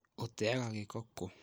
ũteaga gĩko kũ?